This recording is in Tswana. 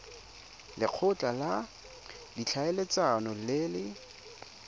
lekgotla la ditlhaeletsano le le